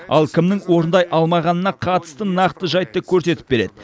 ал кімнің орындай алмағанына қатысты нақты жайтты көрсетіп береді